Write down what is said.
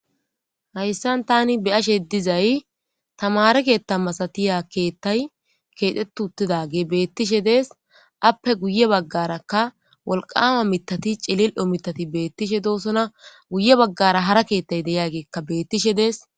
Hayssan tani beyashe dizay tamare keetha masatiya keethtay keexxetutidage beettishe dees appe guye baggarakka wolqama mitati cilil'o mitati beettishe doosona guye baggara hara keethtay deyaageekka beettishe dees.